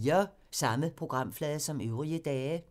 Samme programflade som øvrige dage